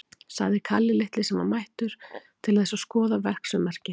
sagði Kalli litli, sem var mættur til þess að skoða verksummerki.